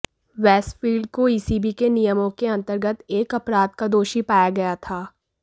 Westfield को ECB के नियमों के अंतर्गत एक अपराध का दोषी पाया गया था